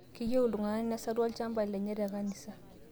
Keyieu ltung'ana nesaru olchamba lenye te kanisa